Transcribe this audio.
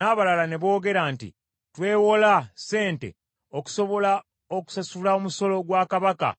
N’abalala ne boogera nti, “Twewola sente okusobola okusasula omusolo gwa kabaka